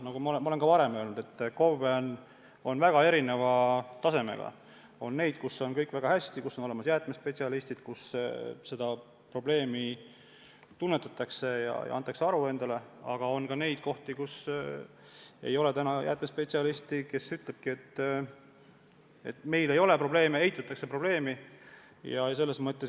Nagu ma olen ka varem öelnud, KOV-e on väga erineva tasemega – on neid, kus on kõik väga hästi, kus on olemas jäätmespetsialistid, kus seda probleemi tunnetatakse ja sellest endale aru antakse, aga on ka neid KOV-e, kus ei ole jäätmespetsialisti, kus öeldakse, et meil ei ole sellega mingeid probleeme.